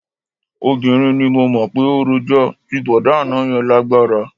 Obìnrin ni mo mọ̀ pé ó rojọ́, ti bọ̀dá àná yẹn lágbára